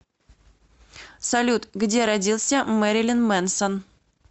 салют где родился мэрилин мэнсон